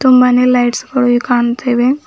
ತುಂಬಾನೇ ಲೈಟ್ಸ್ ಗಳು ಇ ಕಾಣ್ತಿವೆ.